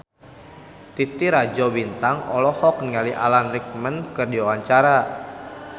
Titi Rajo Bintang olohok ningali Alan Rickman keur diwawancara